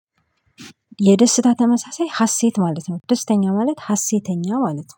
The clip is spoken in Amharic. የደስታ ተመሳሳይ ሀሴት ማለት ነው ደስተኛ ማለት ሀሴተኛ ማለት ነው